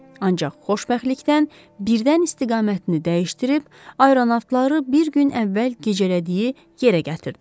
Ancaq xoşbəxtlikdən birdən istiqamətini dəyişdirib, aeronavtları bir gün əvvəl gecələdiyi yerə gətirdi.